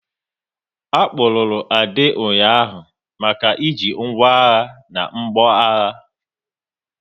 A kpụrụru Ade ụnyaahụ maka e ji ngwá agha na mgbọagha